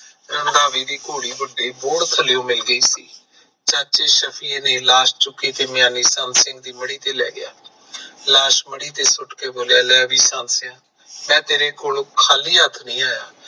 ਰੰਧਾਵੇ ਦੀ ਘੋੜੀ ਵੱਡੇ ਬੋਹੜ ਥੱਲਿਓ ਮਿਲ ਗਈ ਸੀ। ਚਾਚੇ ਸ਼ਫੀ ਨੇ ਲਾਸ਼ ਚੁੱਕੀ ਤੇ ਮਿਆਨੀ ਸੰਤ ਸਿੰਘ ਦੀ ਮੜੀ ਤੇ ਲੈ ਗਿਆ। ਲਾਸ਼ ਮੜੀ ਤੇ ਸੁੱਟ ਕੇ ਬੋਲਿਆ ਲੈ ਬਾਈ ਸੰਤ ਸੀਆ ਮੈਂ ਤੇਰੇ ਕੋਲੋਂ ਖਾਲੀ ਹੱਥ ਨਹੀਂ ਆਇਆ।